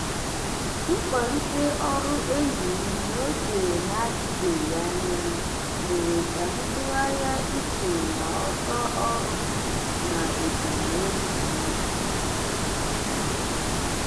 mkwalite ọrụ enyi m n'oge na-adịbeghị anya mere ka m tụgharịa uche na ọsọ ọrụ m na ebumnobi m.